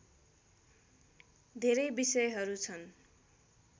धेरै विषयहरू छन्